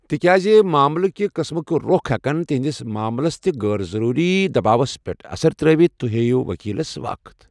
تِكیازِ معاملہٕ كہِ قٕسمٕكہِ روٚخ ہیكن تُہندِس معاملس تہِ غٲر ضروری دباوس پیٹھ اثر ترٚٲوِتھ ، تُہۍ ہییِو وكیلس وقت ۔